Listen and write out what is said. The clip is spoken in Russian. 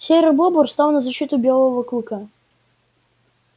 серый бобр стал на защиту белого клыка